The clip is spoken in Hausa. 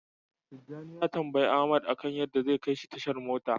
Tijjani ya tambayi Ahmad akan yadda zai kaishi tashar mota.